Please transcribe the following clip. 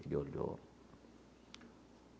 Ele olhou.